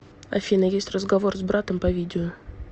афина есть разговор с братом по видео